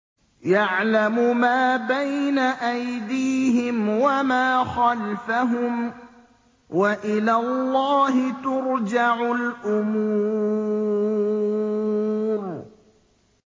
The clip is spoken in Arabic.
يَعْلَمُ مَا بَيْنَ أَيْدِيهِمْ وَمَا خَلْفَهُمْ ۗ وَإِلَى اللَّهِ تُرْجَعُ الْأُمُورُ